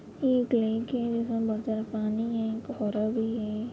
ये एक लेक है जिसमे बोहोत सारा पानी है भी है।